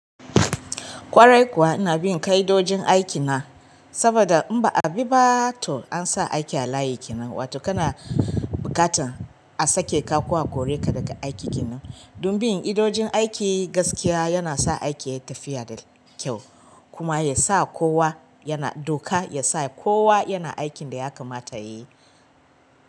Ƙwarai kuwa ina bin ƙa'idojin aiki na saboda in ba a bi ba to an sa aiki a layi kenan, wato kana buƙatan a sake ka ko a kore ka daga aiki ke nan. Don bin ƙa'idojin aiki gaskiya yana sa aiki yayi tafiya da kyau kuma ya sa kowa yana, doka ya sa kowa yana aikin da ya kamata yayi.